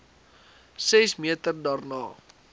ses meter daarna